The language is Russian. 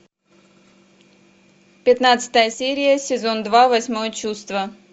пятнадцатая серия сезон два восьмое чувство